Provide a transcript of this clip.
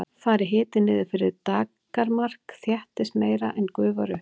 fari hiti niður fyrir daggarmark þéttist meira en gufar upp